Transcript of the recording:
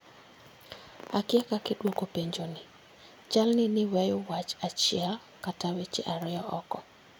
Akia kaka idwoko penjo ni, chal ni ne iweyo wach achiel kata weche ariyo oko